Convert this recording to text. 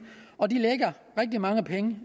og de lægger rigtig mange penge